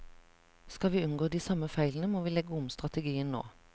Skal vi unngå de samme feilene, må vi legge om strategien nå.